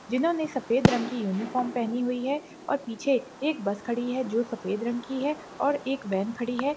जिन्होंने सफेद रंग की यूनिफॉर्म पहनी हुई है और पीछे एक बस खड़ी है जो सफेद रंग की है और एक वैन खड़ी है।